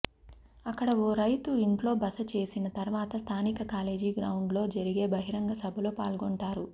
అక్కడ ఓ రైతు ఇంట్లో బస చేసిన తర్వాత స్థానిక కాలేజీ గ్రౌండ్లో జరిగే బహిరంగ సభలో పాల్గొంటారు